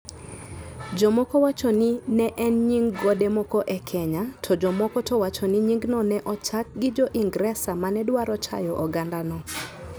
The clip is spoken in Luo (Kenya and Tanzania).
Jomoko wacho ni ne en nying gode moko e Kenya, to jomoko to wacho ni nyingno ne ochaki gi Jo-Ingresa ma ne dwaro chayo ogandano.